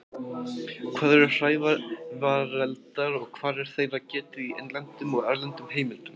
Hvað eru hrævareldar og hvar er þeirra getið í innlendum og erlendum heimildum?